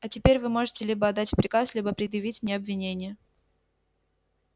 а теперь вы можете либо отдать приказ либо предъявить мне обвинение